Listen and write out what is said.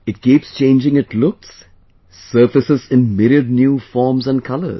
It keeps changing its looks...surfaces in myriad new forms and colours